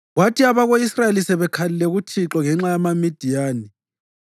Kwathi abako-Israyeli sebekhalile kuThixo ngenxa yamaMidiyani,